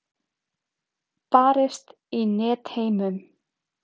Barist í Netheimum